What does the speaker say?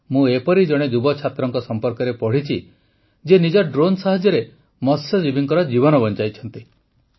ମୁଁ ଏପରି ଜଣେ ଯୁବ ଛାତ୍ରଙ୍କ ସମ୍ପର୍କରେ ପଢ଼ିଛି ଯିଏ ନିଜ ଡ୍ରୋନ୍ ସାହାଯ୍ୟରେ ମତ୍ସ୍ୟଜୀବୀଙ୍କ ଜୀବନ ବଞ୍ଚାଇଛନ୍ତି